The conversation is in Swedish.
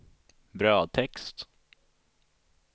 brödtext